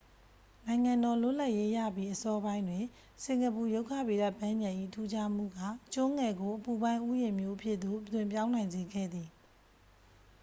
နိုင်ငံတော် လွတ်လပ်ရေးရပြီး အစောပိုင်းတွင် စင်ကာပူ ရုက္ခဗေဒပန်းခြံ၏ ထူးခြားမှုက ကျွန်းငယ်ကို အပူပိုင်း ဥယျာဉ်မြို့အဖြစ်သို့ အသွင်းပြောင်းနိုင်စေခဲ့သည်